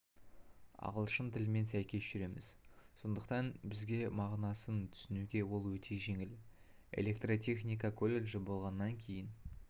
ағылшын тілімен сәйкес жүреміз сондықтан бізге мағынасын түсінуге ол өте жеңіл электротехника колледжі болғаннан кейін